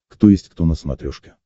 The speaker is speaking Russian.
кто есть кто на смотрешке